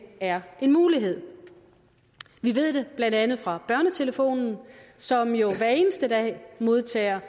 er en mulighed vi ved det blandt andet fra børnetelefonen som jo hver eneste dag modtager